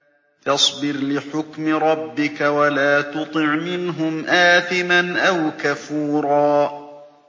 فَاصْبِرْ لِحُكْمِ رَبِّكَ وَلَا تُطِعْ مِنْهُمْ آثِمًا أَوْ كَفُورًا